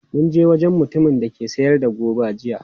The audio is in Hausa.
Mun je wajen mutumin da ke sayar da goba jiya.